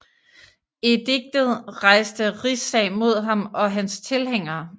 Ediktet rejste rigssag mod ham og hans tilhængere